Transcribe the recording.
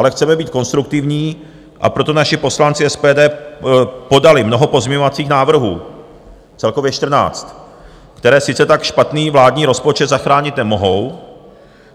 Ale chceme být konstruktivní, a proto naši poslanci SPD podali mnoho pozměňovacích návrhů, celkově 14, které sice tak špatný vládní rozpočet zachránit nemohou,